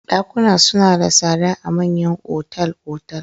Ɗakuna suna da tsada a manyan otal-otal.